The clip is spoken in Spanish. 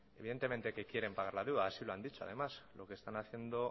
evidentemente que quieren pagar la deuda así lo han dicho además lo que están haciendo